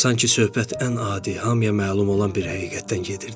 Sanki söhbət ən adi, hamıya məlum olan bir həqiqətdən gedirdi.